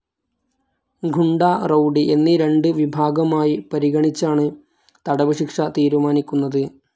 ഗുണ്ട, rowdy എന്നീ രണ്ട് വിഭാഗമായി പരിഗണിച്ചാണ് തടവ് ശിക്ഷ തീരുമാനിക്കുന്നത്.